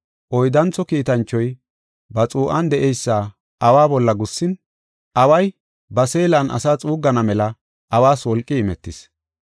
Oyddantho kiitanchoy ba xuu7an de7eysa awa bolla gussin, away ba seelan asaa xuuggana mela awas wolqi imetis.